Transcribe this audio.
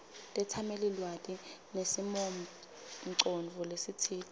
tetsamelilwati nesimongcondvo lesitsite